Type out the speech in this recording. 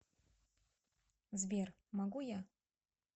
сбер могу я